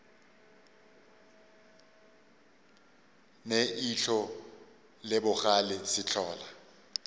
ne ihlo le bogale sehlola